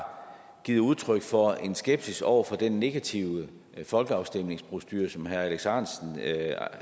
givet udtryk for en skepsis over for den negative folkeafstemningsprocedure som herre alex ahrendtsen